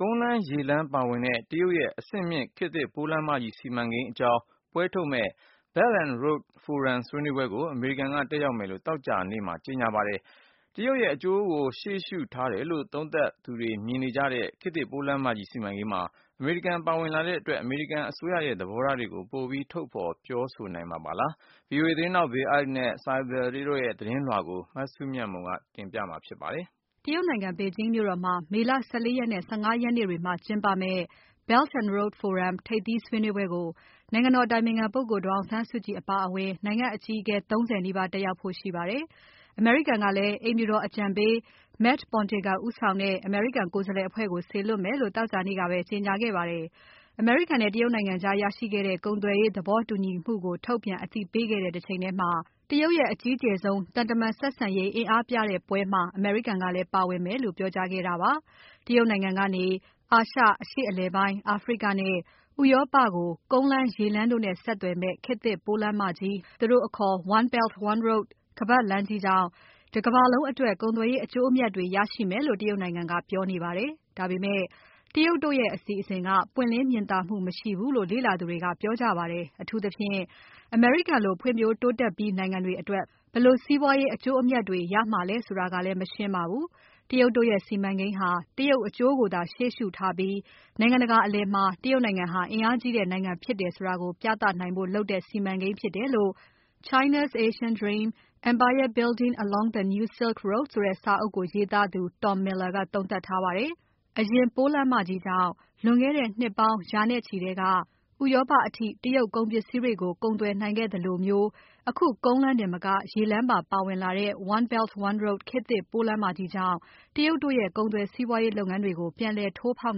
ကုန်းလမ်း၊ ရေလမ်းပါဝင်တဲ့ တရုတ်ရဲ့အဆင့်မြင့် ခေတ်သစ်ပိုးလမ်းမကြီး စီမံကိန်းအကြောင်း ပွဲထုတ်မယ့် Belt and Road Forum ဆွေးနွေးပွဲကို အမေရိကန်က တက်ရောက်မယ်လို့ သောကြာနေ့ကကြေညာခဲ့ပါတယ်။ တရုတ်ရဲ့ အကျိုးကိုရှေ့ရှု ထားတယ်လို့ သုံးသပ်သူတွေမြင်နေကြတဲ့ ခေတ်သစ် ပိုးလမ်းမကြီးစီမံကိန်းမှာ အမေရိကန်ပါဝင်လာတဲ့အတွက် အမေရိကန်အစိုးရရဲ့ သဘောထားတွေကို ပိုပြီးထုတ်ဖော်ပြောနိုင်မှာပါလား။ VOA သတင်းထောက် Bill Ide နဲ့ Saibal Dasgupta တို့ရဲ့သတင်းပေးပို့ချက်နဲ့အတူ မစုမြတ်မွန်က စုစည်းတင်ပြပါမယ်။ တရုတ်နိုင်ငံ ဘေဂျင်းမြို့တော်မှာ မေလ ၁၄ ရက်နဲ့ ၁၅ ရက်နေ့တွေမှာကျင်းပမယ့် Belt and Road Forum ထိပ်သီးဆွေးနွေးပွဲကို နိုင်ငံတော်အတိုင်ပင်ခံပုဂ္ဂိုလ် ဒေါ်အောင်ဆန်းစုကြည် အပါအဝင် နိုင်ငံအကြီးအကဲ ၃၀ နီးပါးတက်ရောက်ကြဖို့ရှိပါတယ်။ အမေရိကန်ကလည်း အိမ်ဖြူတော်အကြံပေး Matt Pottinger ဦးဆောင်တဲ့အမေရိကန် ကိုယ်စားလှယ်အဖွဲ့ကို စေလွှတ်မယ်လို့ သောကြာနေ့ကပဲ ကြေညာခဲ့ပါတယ်။ အမေရိကန်နဲ့ တရုတ်နိုင်ငံကြားရရှိခဲ့တဲ့ ကုန်သွယ်ရေးသဘောတူညီမှုကို ထုတ်ပြန်အသိပေးခဲ့တဲ့ တချိန်ထဲမှာ တရုတ်ရဲ့အကြီးကျယ်ဆုံး သံတမန်ဆက်ဆံရေး အင်အားပြတဲ့ပွဲမှာ အမေရိကန်ကလည်းပါဝင်မယ်လို့ ပြောကြားခဲ့တာပါ။ တရုတ်နိုင်ငံကနေ အာရှ၊ အရှေ့အလယ်ပိုင်း၊ အာဖရိကနဲ့ ဥရောပကို ကုန်းလမ်း၊ ရေလမ်းတို့နဲ့ ဆက်သွယ်မယ့် ခေတ်သစ်ပိုးလမ်းမကြီး သူတို့အခေါ် One Belt, One Road ခါးပါတ်လမ်းကြီးကြောင့် တကမ္ဘာလုံးအတွက် ကုန်သွယ်ရေးအကျိုးအမြတ်တွေ ရရှိမယ်လို့ တရုတ်နိုင်ငံကပြောနေပါတယ်။ ဒါပေမဲ့ တရုတ်တို့ရဲ့ အစီအစဉ်က ပွင့်လင်းမြင်သာမှု မရှိဘူးလို့ လေ့လာသူတွေ ကပြောကြပါတယ်။ အထူးသဖြင့် အမေရိကန်လို ဖွံ့ဖြိုးတိုးတက်ပြီးနိုင်ငံတွေ အတွက် ဘယ်လိုစီးပွားရေး အကျိုးအမြတ်တွေ ရနိုင်မှာလည်းဆိုတာကလည်း မရှင်းလင်းပါဘူး။ တရုတ်တို့ရဲ့စီမံကိန်းဟာ တရုတ်အကျိုးကိုသာ ရှေ့ရှုထားပြီး နိုင်ငံတကာအလည်မှာ တရုတ်နိုင်ငံဟာ အင်အားကြီးတဲ့နိုင်ငံဖြစ်တယ်ဆိုတာကို ပြသနိုင်ဖို့လုပ်ထားတဲ့ စီမံကိန်းဖြစ်တယ်လို့ China’s Asian Dream: Empire Building Along the New Silk Roadဆိုတဲ့စာအုပ်ကိုရေးသားသူ Tom Miller ကသုံးသပ်ထားပါတယ်။ အရင်ပိုးလမ်းမကြီးကြောင့် လွန်ခဲ့တဲ့နှစ်ပေါင်း ရာနဲ့ချီထဲက ဥရောပအထိ တရုတ်ကုန်ပစ္စည်းတွေကို ကုန်သွယ်နိုင်ခဲ့သလိုမျိုး အခု ကုန်းလမ်းတင်မက ရေလမ်းပါပါဝင်တဲ့ One Belt, One Road ခေတ်သစ်ပိုးလမ်းမကြီးကြောင့် တရုတ်တို့ရဲ့ကုန်သွယ်စီးပွားလုပ်ငန်းတွေကို ပြန်လည်ထိုးဖောက်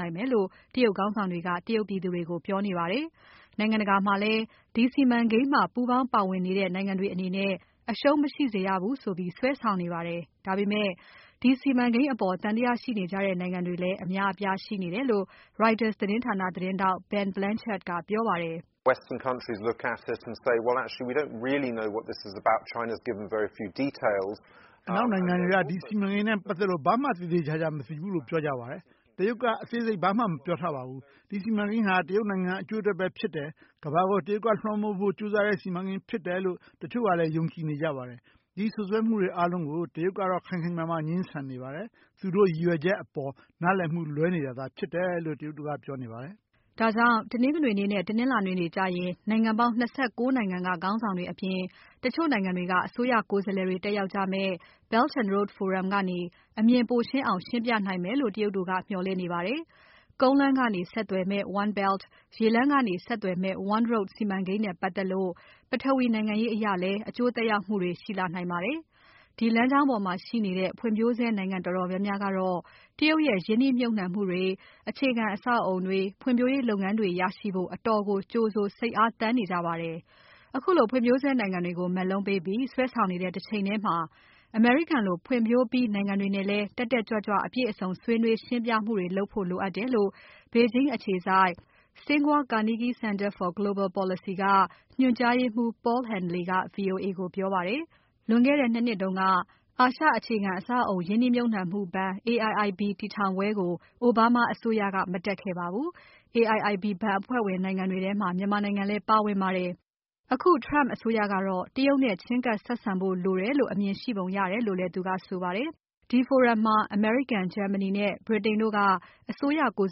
နိုင်မယ်လို့ တရုတ်ခေါင်းဆောင်တွေက တရုတ်ပြည်သူတွေကိုပြောနေပါတယ်။ နိုင်ငံတကာမှာလည်း ဒီစီမံကိန်းမှာ ပူးပေါင်းပါဝင်နေတဲ့နိုင်ငံတွေအနေနဲ့ အရှုံးမရှိစေရဘူးဆိုပြီး စွဲဆောင်နေပါတယ်။ ဒါပေမဲ့ ဒီစီမံကိန်းအပေါ် သံသယရှိနေကြတဲ့နိုင်ငံတွေလည်း အများအပြားရှိနေတယ်လို့ Reuters သတင်းဌာန သတင်းထောက် Ben Blanchard ကပြောပါတယ်။ "အနောက်နိုင်ငံတွေက ဒီစီမံကိန်းနဲ့ပါတ်သက်လို့ ဘာမှသေသေချာချာမသိဘူးလို့ ပြောကြပါတယ်။ တရုတ်ကအသေးစိတ်ဘာမှာ ပြောမထားပါဘူး။ ဒီစီမံကိန်းဟာ တရုတ်နိုင်ငံအကျိုးအတွက်ပဲဖြစ်တယ်။ ကမ္ဘာကို တရုတ်ကလွှမ်းမိုးနိုင်ဖို့ကြိုးစားတဲ့ စီမံကိန်းဖြစ်တယ်လို့ တချိုကလည်း ယုံကြည်နေကြပါတယ်။ ဒီစွပ်စွဲမှုတွေအားလုံးကို တရုတ်ကတော့ ခိုင်ခိုင်မာမာငြင်းဆန်နေပါတယ်။ သူတို့ရည်ရွယ်ချက်အပေါ် နားလည်မှုလွဲနေတာသာဖြစ်တယ်လို့ တရုတ်တို့ကပြောနေပါတယ်။" ဒါကြောင့် တနင်္ဂနွေနေ့နဲ့ တနင်္လာနေ့တွေကျရင် နိုင်ငံပေါင်း ၂၉ နိုင်ငံက ခေါင်းဆောင်တွေ အပြင် တချို့နိုင်ငံတွေက အစိုးရကိုယ်စားလှယ်တွေ တက်ရောက်ကြမယ့် Belt and Road Forum ကနေ အမြင်ပိုရှင်းအောင် ရှင်းပြနိုင်မယ်လို့ တရုတ်တို့က မျှော်လင့်နေပါတယ်။ ကုန်းလမ်းကနေ ဆက်သွယ်မယ့် One Belt ရေလမ်းကနေဆက်သွယ်မယ့် One Road စီမံကိန်းနဲ့ပါတ်သက်လို့ ပထဝီနိုင်ငံရေးအရ အကျိုးသက်ရောက်မှုတွေ ရှိလာနိုင်ပါတယ်။ ဒီလမ်းကြောင်းပေါ်မှာရှိနေတဲ့ ဖွံ့ဖြိုးဆဲနိုင်ငံတော်တော်များများကတော့ တရုတ်ရဲ့ ရင်းနှီးမြှုပ်နှံမှုတွေ၊ အခြေခံအဆောက်အအုံတွေ၊ ဖွံ့ဖြိုးရေးလုပ်ငန်းတွေကို ရရှိဖို့ အတော်ကိုကြိုဆို၊ စိတ်အားသန်နေကြပါတယ်။ ခုလိုဖွံ့ဖြိုးဆဲနိုင်ငံတွေကို မက်လုံးတွေပေးပြီး စွဲဆောင်နေတဲ့ တချိန်ထဲမှာ အမေရိကန်လို ဖွံ့ဖြိုးပြီးနိုင်ငံတွေနဲ့လည်း တက်တက်ကြွကြွ အပြည့်အစုံဆွေးနွေးရှင်းပြမှုတွေလုပ်ဖို့လိုအပ်တယ်လို့ ဘေဂျင်းအခြေစိုက် Tsinghua-Carnegie Center for Global Policy ကညွန်ကြားရေးမှူး Paul Haenle က VOA ကိုပြောပါတယ်။ လွန်ခဲ့တဲ့ ၂ နှစ်တုန်းက အာရှအခြေခံအဆောက်အအုံရင်းနှီးမြှပ်နှံမှုဘဏ် AIIB တည်ထောင်ပွဲကို အိုဘားမားအစိုးရက မတက်ခဲ့ပါဘူး။ AIIB ဘဏ်အဖွဲ့ဝင်နိုင်ငံတွေထဲမှာ မြန်မာနိုင်ငံလည်း ပါဝင်ပါတယ်။ အခု Trump အစိုးရကတော့ တရုတ်နဲ့ချဉ်းကပ် ဆက်ဆံဖို့လိုတယ်လို့ အမြင်ရှိပုံရတယ်လို့လည်း သူကဆိုပါတယ်။ ဒီForum မှာ အမေရိကန်၊ ဂျာမနီနဲ့ ဗြိတိန်တို့က အစိုးရကိုယ်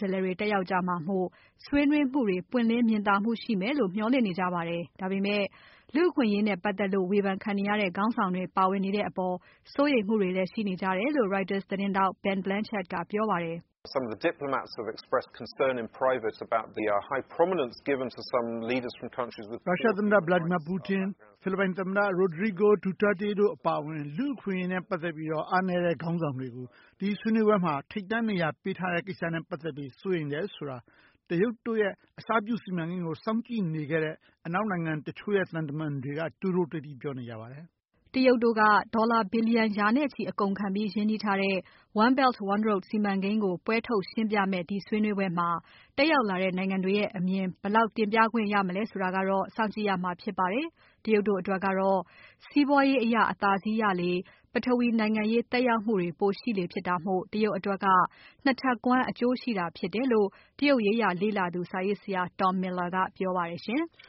စားလှယ်တွေတက်ရောက်ကြမှာမို့ ဆွေးနွေးမှုတွေ ပွင်းလင်းမြင်သာမှုရှိမယ်လို့ မျှော်လင့်နေကြပါတယ်။ ဒါပေမဲ့ လူ့အခွင့်အရေးနဲ့ပါတ်သက်လို့ ဝေဖန်ခံနေရတဲ့ ခေါင်းဆောင်တွေပါဝင်နေတဲ့အပေါ် စိုးရိမ်မှုတွေလည်းရှိနေကြတယ်လို့ Reuters သတင်းထောက် Ben Blanchard ကပြောပါတယ်။ "ရုရှားသမ္မတ Vladimir Putin ဖိလစ်ပိုင်သမ္မတ Rodrigo Duterte တို့အပါအဝင် လူ့အခွင့်အရေးနဲ့ပါတ်သက်လို့ အားနည်းတဲ့ခေါင်းဆောင်တွေကို ဆွေးနွေးပွဲမှာ ထိပ်တန်းနေရာပေးနေတဲ့အပေါ် စိုးရိမ်တယ်ဆိုတာကို တရုတ်တို့ရဲ့ အစပြုစီမံကိန်းကို စောင့်ကြည့်နေကြတဲ့ အနောက်နိုင်ငံတချို့ရဲ့ သံတမန်တချို့က တိုးတိုးတိတ်တိတ် ပြောနေကြပါတယ်။" တရုတ်တို့က ဒေါ်လာဘီလျံရာ နဲ့ချီအကုန်အကျခံပြီး ရင်းနှီးထားတဲ့ One Belt, One Road စီမံကိန်းကို ပွဲထုတ်ရှင်းပြမယ့် ဒီဆွေးနွေးပွဲမှာ တက်ရောက်လာတဲ့ နိုင်ငံတွေရဲ့အမြင်တွေ ဘယ်လောက်တင်ပြခွင့်ရမလဲဆိုတာကတော့ စောင့်ကြည့်ရမှာဖြစ်ပါတယ်။ တရုတ်တို့အတွက်ကတော့ စီးပွားရေးအရ အသာစီးရလေ ပထဝီနိုင်ငံရေး သက်ရောက်မှုတွေ ပိုရှိလေဖြစ် တာမို့ တရုတ်အတွက်က ၂ ထပ်ကွမ်း အကျိုးရှိတာ ဖြစ်တယ်လို့ တရုတ်ရေးရာလေ့လာသူ စာရေးဆရာ Tom Miller ကပြောပါတယ်။